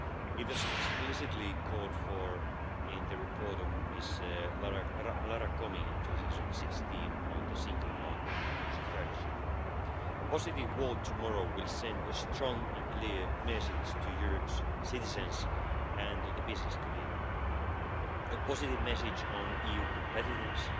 It was explicitly called for in the report by Ms Lara Comi in 2016 on the single market strategy. A positive vote tomorrow will send a strong and clear message to Europe's citizens and to the business community, a positive message on EU competitiveness,